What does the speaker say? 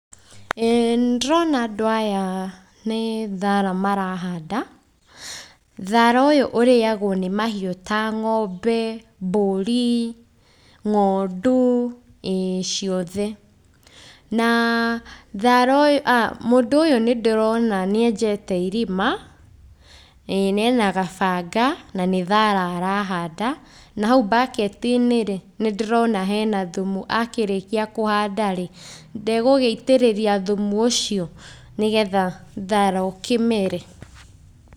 Ĩĩ nĩndĩrona andũ aya nĩthara maranda,.Thara ũyũ ũrĩagwo nĩ mahiũ ta ng'ombe mbũri, ng'ondu ĩĩ ciothe. Na thara ũyũ, a , mũndũ ũyũ nĩndĩrona nĩenjete irima ĩĩ na ena gabanga nĩthara arahanda. Nahau mbaketi-inĩrĩ, nĩndĩrona enathumu, akĩrĩkia kũhandarĩ, ndegũgĩitĩrĩria thumu ũcio nĩgetha thara ũkĩmere.